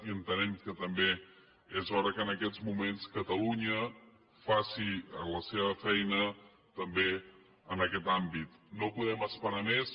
i entenem que també és hora que en aquests moments catalunya faci la seva feina també en aquest àmbit no podem esperar més